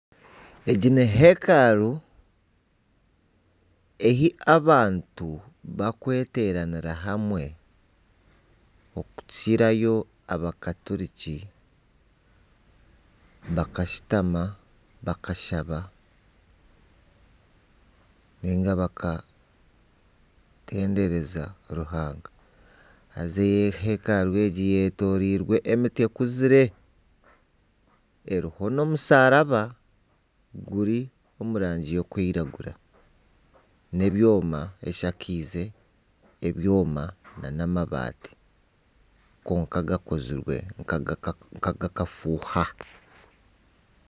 Egi ni hekaru ahi abantu bakweteranira hamwe okukirayo abanya katuriki bakashutama, bakashaba, ninga bakatendereza Ruhanga. Haza hekaru egi eyetoreirwe emiti ekuzire eriho n'omusharaba guri omu rangi erikwiragura n'ebyooma. Eshakiize ebyooma nana amabaati kwonka gakozirwe nka aga akafuuha.